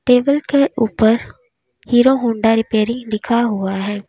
Table के ऊपर Hero Honda repairing लिखा हुआ है।